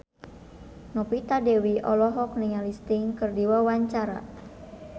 Novita Dewi olohok ningali Sting keur diwawancara